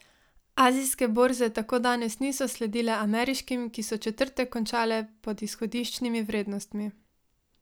Azijske borze tako danes niso sledile ameriškim, ki so četrtek končale pod izhodiščnimi vrednostmi.